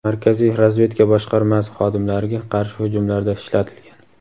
Markaziy razvedka boshqarmasi xodimlariga qarshi hujumlarda ishlatilgan.